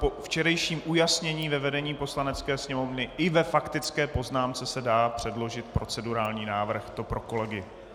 Po včerejším ujasnění ve vedení Poslanecké sněmovny i ve faktické poznámce se dá předložit procedurální návrh - to pro kolegy.